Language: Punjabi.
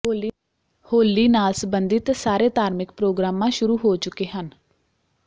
ਹੋਲੀ ਨਾਲ ਸੰਬੰਧਿਤ ਸਾਰੇ ਧਾਰਮਿਕ ਪ੍ਰੋਗਰਾਮਾਂ ਸ਼ੁਰੂ ਹੋ ਚੁੱਕੇ ਹਨ